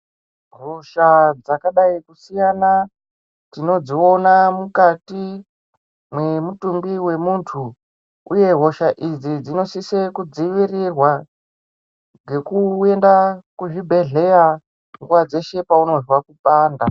Hosha dzakadsi kusiyana tinodziona mukati memutumbi wemunthu uye hosha idzi dzinosise kudzivirirwa ngekurumba kuzvibhedhleya nguwa dzeshe paunozwa kupanda.